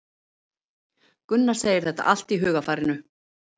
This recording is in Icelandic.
Gunnar segir þetta allt í hugarfarinu.